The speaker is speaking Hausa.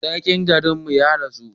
Sarkin garin mu ya rasu